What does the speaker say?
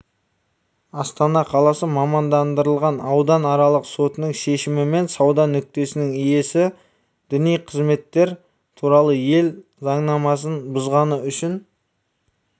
астана қаласы мамандандырылған ауданаралық сотының шешімімен сауда нүктесінің иесі діни қызметтер туралы ел заңнамасын бұзғаны үшін